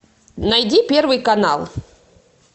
найди первый канал